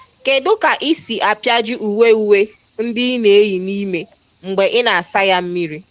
Kedu ka ị si apịaji uwe uwe ndị ị na-eyi n'ime mgbe ị na-asa ya mmiri?